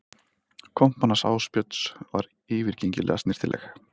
Kompan hans Ásbjörns er yfirgengilega snyrtileg